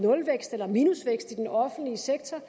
nulvækst eller minusvækst i den offentlige sektor